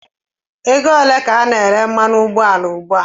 Ego ole ka a na-ere Fuwelu ùgbúà?